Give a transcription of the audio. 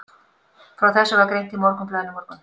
Frá þessu var greint í Morgunblaðinu í morgun.